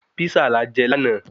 Písà la je láàná